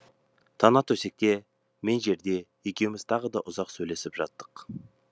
тана төсекте мен жерде екеуміз тағы да ұзақ сөйлесіп жаттық